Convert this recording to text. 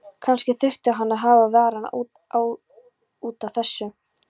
Kannski þurfti hann að hafa varann á út af þessu.